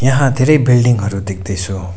यहाँ धेरै बिल्डिङ हरु देख्दैछु।